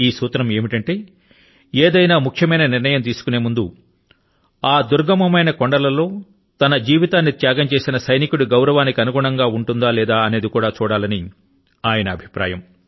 ఈ సూత్రం ఏమిటంటే ఏదైనా ముఖ్యమైన నిర్ణయాన్ని తీసుకొనే ముందు అటువంటి నిర్ణయం ఆ యొక్క దుర్గమమైన కొండల లో తన జీవితాన్ని త్యాగం చేసిన సైనికుడి గౌరవానికి అనుగుణంగా ఉంటుందా లేదా అనేది కూడా చూడాలి అనేది అటల్ గారి అభిప్రాయం